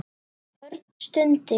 Örn stundi.